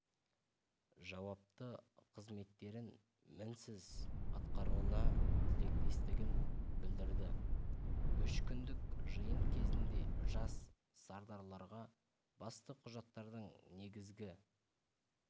жауапты қызметтерін мінсіз атқаруына тілектестігін білдірді үш күндік жиын кезінде жас сардарларға басты құжаттардың негізгі